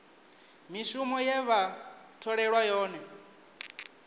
mishumo ye vha tholelwa yone